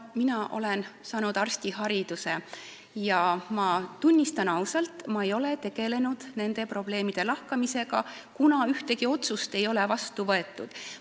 Mina olen saanud arstihariduse ja tunnistan ausalt, et ma ei ole tegelenud nende probleemide lahkamisega, kuna ühtegi otsust ei ole vastu võetud.